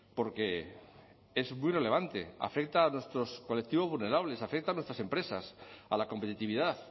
porque es muy relevante afecta a nuestros colectivos vulnerables afecta a nuestras empresas a la competitividad